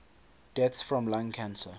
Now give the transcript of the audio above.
deaths from lung cancer